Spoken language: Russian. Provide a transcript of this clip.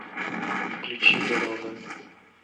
включи дорога